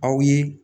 Aw ye